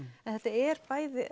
en þetta eru bæði